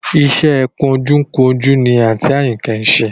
Iṣẹ́ ẹ kunjúkunjú ni àǹtí Àyìnkẹ́ ń ṣe